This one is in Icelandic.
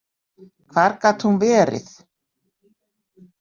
Hvar gat hún verið?